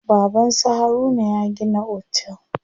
Baban su Haruna ya gina otel.